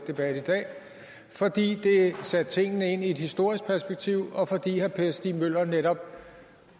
debatten i dag fordi det satte tingene ind i et historisk perspektiv og fordi herre per stig møller netop